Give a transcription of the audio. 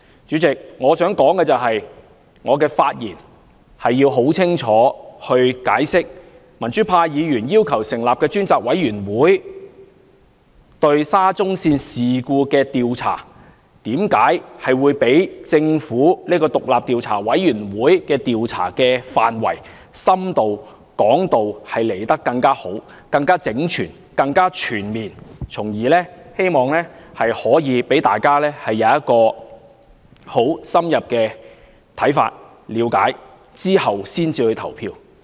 主席，我發言是要很清楚地解釋，民主派議員要求成立專責委員會調查沙中線事故，為何會較政府的獨立調查委員會的調查範圍更深更廣、更整全而全面，希望從而讓大家有很深入的看法，經了解後才投票。